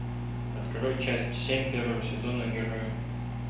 открой часть семь первого сезона герои